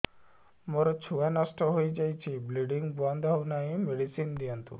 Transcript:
ମୋର ଛୁଆ ନଷ୍ଟ ହୋଇଯାଇଛି ବ୍ଲିଡ଼ିଙ୍ଗ ବନ୍ଦ ହଉନାହିଁ ମେଡିସିନ ଦିଅନ୍ତୁ